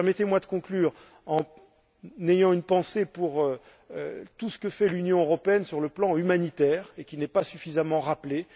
Permettez moi de conclure en ayant une pensée pour tout ce que fait l'Union européenne sur le plan humanitaire et qui n'est pas suffisamment rappelé.